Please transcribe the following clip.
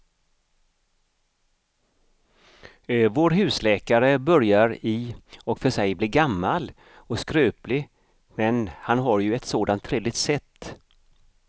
Vår husläkare börjar i och för sig bli gammal och skröplig, men han har ju ett sådant trevligt sätt!